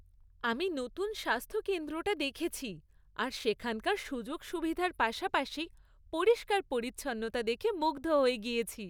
আমি নতুন স্বাস্থ্যকেন্দ্রটা দেখেছি আর সেখানকার সুযোগ সুবিধার পাশাপাশি পরিষ্কার পরিচ্ছন্নতা দেখে মুগ্ধ হয়ে গিয়েছি।